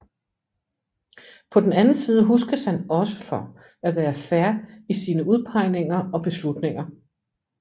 På den anden side huskes han også for at være fair i sine udpegninger og beslutninger